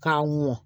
K'a mɔn